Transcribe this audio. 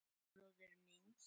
Eldri bróður míns?